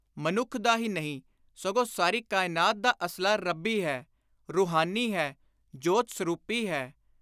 ਮਨੁੱਖ ਦਾ ਹੀ ਨਹੀਂ ਸਗੋਂ ਸਾਰੀ ਕਾਇਨਾਤ ਦਾ ਅਸਲਾ ਰੱਬੀ ਹੈ, ਰੂਹਾਨੀ ਹੈ, ਜੋਤ-ਸਰੂਪੀ ਹੈ।”